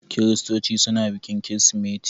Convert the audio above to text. Kiristoci suna bikin Kirsimeti.